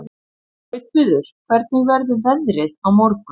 Gautviður, hvernig verður veðrið á morgun?